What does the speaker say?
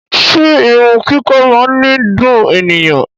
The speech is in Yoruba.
Ṣe irun kiko máa ni dùn ènìyàn?